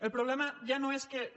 el problema ja no és que no